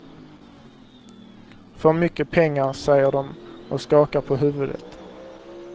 För mycket pengar, säger de och skakar på huvudet.